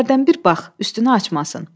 Amma hərdən bir bax, üstünü açmasın.